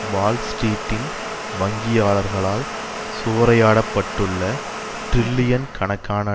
வால்ஸ்ட்ரீட்டின் வங்கியாளர்களால் சூறையாடப்பட்டுள்ள டிரில்லியன் கணக்கான